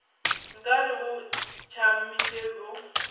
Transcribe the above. nka re bo tšamile bo